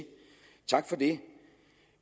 tak for det